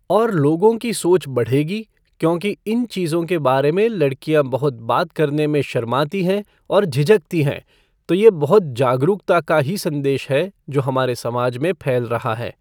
और लोगों की सोच बढ़ेगी क्योंकि इन चीज़ों के बारे में लड़कियाँ बहुत बात करने में शर्माती हैं और झिझकती हैं तो यह बहुत जागरूकता का ही संदेश है जो हमारे समाज में फैल रहा है।